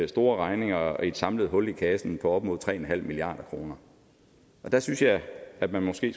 store regninger og et samlet hul i kassen på op imod tre milliard kroner der synes jeg at man måske